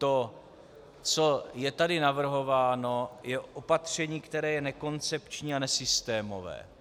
To, co je tady navrhováno, je opatření, které je nekoncepční a nesystémové.